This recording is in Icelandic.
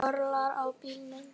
Nú örlar á bílum.